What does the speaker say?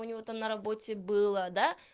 у него там на работе было да